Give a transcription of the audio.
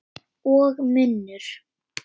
Og munnur